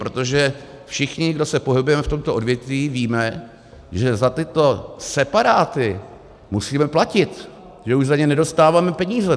Protože všichni, co se pohybujeme v tomto odvětví, víme, že za tyto separáty musíme platit, že už za ně nedostáváme peníze.